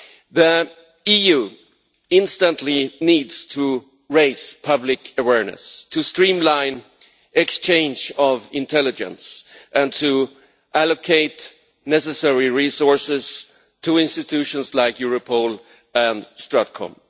The EU instantly needs to raise public awareness, to streamline the exchange of intelligence and to allocate necessary resources to institutions like Europol and StratCom.